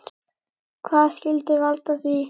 Hvað skyldi valda því?